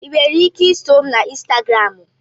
Ị nwere ike iso m na Instagramu?